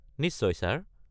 নিশ্চয়, ছাৰ।